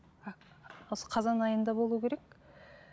осы қазан айында болу керек